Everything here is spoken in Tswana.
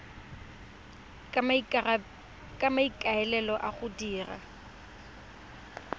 ka maikaelelo a go dira